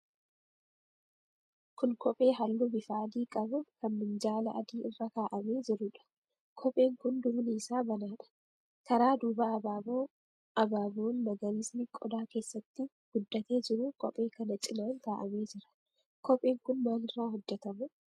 Kun kophee halluu bifa adii qabu kan minjaala adii irra kaa'amee jiruudha. Kopheen kun duubni isaa banaadha. Karaa duubaa abaaboo abaaboon magariisni qodaa keessatti guddatee jiru kophee kana cinaan kaa'amee jira. Kopheen kun maalirraa hojjetama?